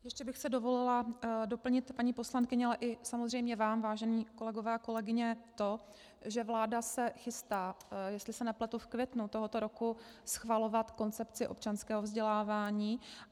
Ještě bych si dovolila doplnit, paní poslankyně, ale samozřejmě i vám, vážení kolegové a kolegyně, to, že vláda se chystá, jestli se nepletu v květnu tohoto roku, schvalovat koncepci občanského vzdělávání.